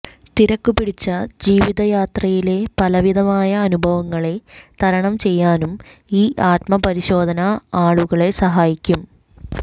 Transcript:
തിരക്കുപിടിച്ച ജീവിതയാത്രയിലെ പലവിധമായ അനുഭങ്ങളെ തരണം ചെയ്യാനും ഈ ആത്മപരിശോധന ആളുകളെ സഹായിക്കും